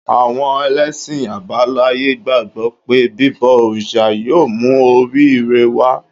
Àwọn ẹlẹ́sìn àbáláyé gbàgbọ́ pé bíbọ òrìṣà yóò mú orí-ire wá